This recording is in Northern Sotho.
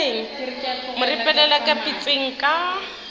mo ripelela ka pitšeng ka